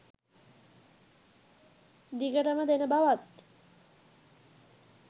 දිගටම දෙන බවත්